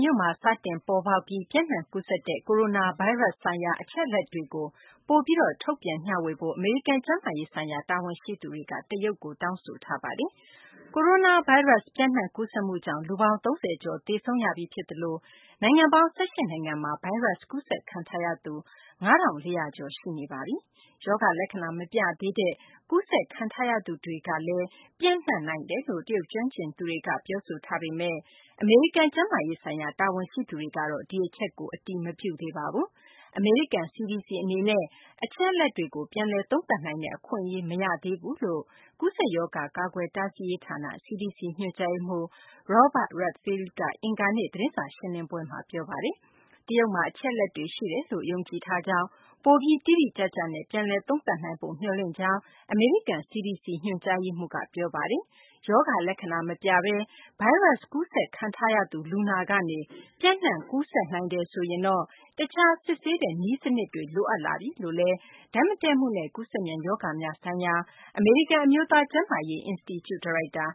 မြို့မှာ စတင်ပေါ်ပေါက်ပြီး ပျံ့နှံကူးစက်ခဲ့တဲ့ Coronavirus နဲ့ ပတ်သက်တဲ့ အချက်အလက်တွေကို တရုတ်ဘက်က ပိုပြီး ထုတ်ပြန် မျှဝေဖို့ အမေရိကန် ကျန်းမာရေး ဆိုင်ရာ တာဝန်ရှိသူတွေက တောင်းဆိုထားပါတယ်။ Coronavirus ပျံ့နှံ့ ကူးစက်မှုကြောင့် လူပေါင်း ၁၀၀ ကျော် သေဆုံးရပြီး ဖြစ်သလို နိုင်ငံပေါင်း ၁၈ နိုင်ငံမှာ ဗိုင်းရပ်စ် ကူးစက်ခံထားရသူ ၅၄၀၀ ကျော် ရှိနေပါပြီ။ ရောဂါလက္ခဏာ မပြသေးတဲ့ ကူးစက်ခံထားရသူတွေလည်း ပျံ့နှံ့နိုင်တယ်လို့ တရုတ် ကျွမ်းကျင်သူတွေက ပြောဆိုထားပေမယ့် အမေရိကန် ကျန်းမာရေး ဆိုင်ရာ တာဝန်ရှိသူတွေကတော့ ဒီအချက်ကို အတည်မပြုသေးပါဘူး။ အမေရိကန် CDC အနေနဲ့ အချက်အလက်တွေကို ပြန်လည် သုံးသပ်နိုင်တဲ့ အခွင့်အရေး မရဘူးလို့လည်း ကူးစက်ရောဂါ ကာကွယ်တားဆီးရေးဌာန CDC ညွှန်ကြားရေးမှူး Robert Redfield က အင်္ဂါနေ့ သတင်းစာ ရှင်းလင်းပွဲမှာ ပြောပါတယ်။ Wuhan ရောက် ကန် နိုင်ငံသားတွေ စတင်ထွက်ခွာတဲ့သတင်းကို ဖတ်ရှုနိုင်ပါပြီ။ တရုတ်မှာ အချက်အလက်တွေ ရှိတယ်လို့ ယုံကြည်ထားကြောင်း၊ ပိုပြီး တိတိကျကျနဲ့ ပြန်လည်သုံးသပ်နိုင်ဖို့ မျှော်လင့်ပါကြောင်း အမေရိကန် CDC ညွှန်ကြားရေးမှူးက ပြောပါတယ်။ ရောဂါလက္ခဏာ မပြဘဲ ဗိုင်းရပ်စ် ကူးစက်ခံထားရသူ လူနာကနေ ပျံ့နှံ့ ကူးစက်နိုင်တယ်ဆိုရင် တခြား စစ်ဆေးတဲ့ နည်းစနစ်တွေ လိုအပ်လာပြီလို့လည်း ဓာတ်မတည့်မှုနဲ့ ကူးစက်မြန်ရောဂါများဆိုင်ရာ အမေရိကန် အမျိုးသား ကျန်းမာရေး အင်စတီကျူ ဒါရိုက်တာ